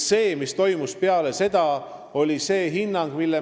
Mis toimus peale valimisi?